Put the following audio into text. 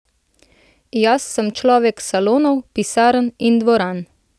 Jaz sem človek salonov, pisarn in dvoran!